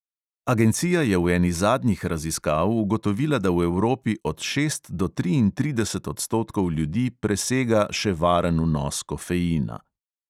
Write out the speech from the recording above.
Agencija je v eni zadnjih raziskav ugotovila, da v evropi od šest do triintrideset odstotkov ljudi presega še varen vnos kofeina.